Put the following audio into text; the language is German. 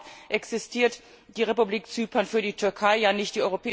Überhaupt existiert die Republik Zypern für die Türkei ja nicht.